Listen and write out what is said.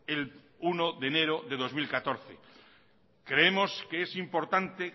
el uno de enero de dos mil catorce creemos que es importante